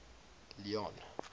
leone